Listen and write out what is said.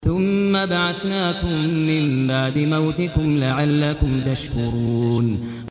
ثُمَّ بَعَثْنَاكُم مِّن بَعْدِ مَوْتِكُمْ لَعَلَّكُمْ تَشْكُرُونَ